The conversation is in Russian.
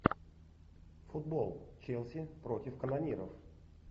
футбол челси против канониров